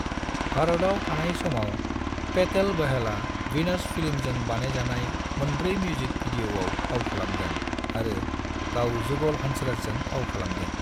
भारतआव थानाय समाव, पेटेल बहलआ वीनास फिल्म्सजों बानायजानाय मोनब्रै मिउजिक वीडियोआव फाव खालामदों आरो गाव जुगल हंसराजजों फाव खालामदों।